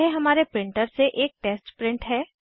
यह हमारे प्रिंटर से एक टेस्ट प्रिंट है